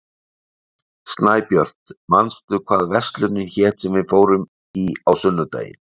Snæbjört, manstu hvað verslunin hét sem við fórum í á sunnudaginn?